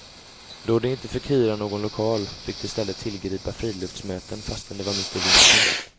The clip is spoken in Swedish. Då de inte fick hyra någon lokal, fick de istället tillgripa friluftsmöten fastän det var mitt i vintern.